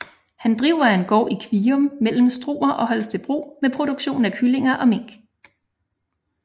Han driver en gård i Kvium mellem Struer og Holstebro med produktion af kyllinger og mink